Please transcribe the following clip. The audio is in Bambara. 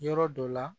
Yɔrɔ dɔ la